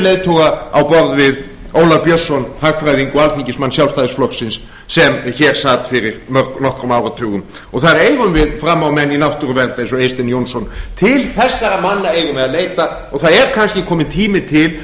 leiðtoga á borð við ólaf björnsson hagfræðing og alþingismann sjálfstæðisflokksins sem hér sat fyrir nokkrum áratugum og þar eigum við frammámenn í náttúruvernd eins og eystein jónsson til þessara manna eigum við að leita og það er kannski kominn tími til að